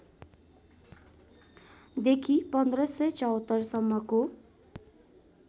देखि १५७४ सम्मको